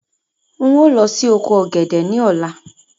Ń ó lọ síí oko ọ̀gẹ̀dẹ̀ ni ọ̀la.